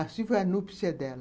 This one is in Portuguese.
Assim foi a anúpsia dela.